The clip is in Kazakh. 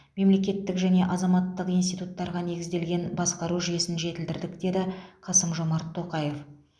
мемлекеттік және азаматтық институттарға негізделген басқару жүйесін жетілдірдік деді қасым жомарт тоқаев